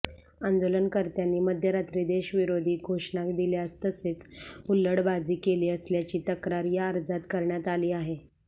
आंदाेलनकर्त्यांनी मध्यरात्री देशविराेधी घाेषणा दिल्या तसेच हुल्लडबाजी केली असल्याची तक्रार या अर्जात करण्यात आली आहे